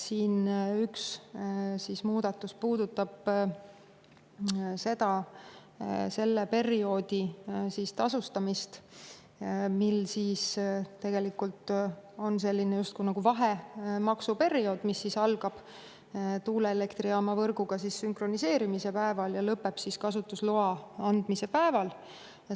Üks muudatus puudutab selle perioodi tasustamist, mil on selline justkui vahemaksuperiood, mis algab tuuleelektrijaama võrguga sünkroniseerimise päeval ja lõpeb kasutusloa andmise päeval.